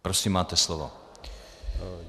Prosím, máte slovo.